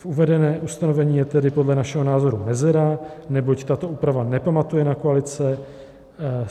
V uvedeném ustanovení je tedy podle našeho názoru mezera, neboť tato úprava nepamatuje na koalice.